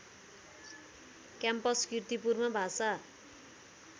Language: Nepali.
क्याम्पस कीर्तिपुरमा भाषा